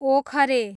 ओखरे